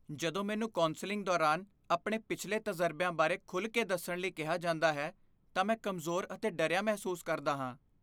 ਜਦੋਂ ਮੈਨੂੰ ਕੌਂਸਲਿੰਗ ਦੌਰਾਨ ਆਪਣੇ ਪਿਛਲੇ ਤਜ਼ਰਬਿਆਂ ਬਾਰੇ ਖੁੱਲ੍ਹ ਕੇ ਦੱਸਣ ਲਈ ਕਿਹਾ ਜਾਂਦਾ ਹੈ ਤਾਂ ਮੈਂ ਕਮਜ਼ੋਰ ਅਤੇ ਡਰਿਆ ਮਹਿਸੂਸ ਕਰਦਾ ਹਾਂ।